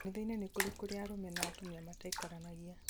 kanithainĩ nĩ kũrĩ kũrĩa arũme na atumia mataikaranagia